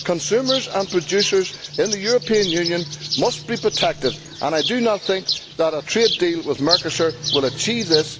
Consumers and producers in the European Union must be protected, and I do not think that a trade deal with Mercosur will achieve this.